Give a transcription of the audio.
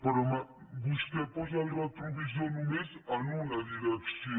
però vostè posa el retrovisor només en una direcció